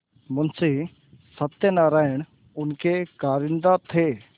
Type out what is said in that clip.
मुंशी सत्यनारायण उनके कारिंदा थे